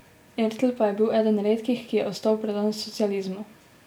Ertl pa je bil eden redkih, ki je ostal predan socializmu.